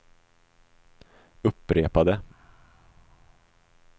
upprepade